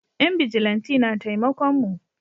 Yan bijilanti na taimakon mu